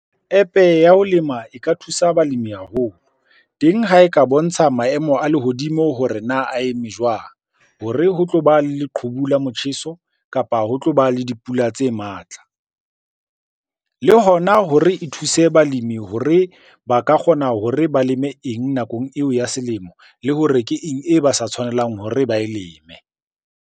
App-e ya ho lema e ka thusa balimi haholo, teng ha e ka bontsha maemo a lehodimo hore na a eme jwang hore ho tloba le leqhubu la motjheso, kapa ho tloba le dipula tseo e matla. Le hona hore e thuse balemi hore ba ka kgona hore ba leme eng nakong eo ya selemo? Le hore ke eng e ba sa tshwanelang hore ba e leme?